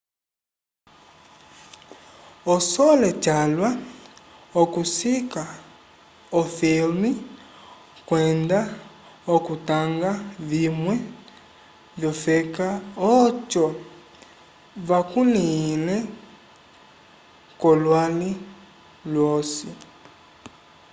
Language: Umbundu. osole calwa okusika o filme kwenda okutanga vimwe vyofeka oco vakulihe kolwali lwosi